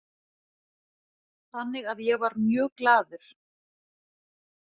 Þannig að ég var mjög glaður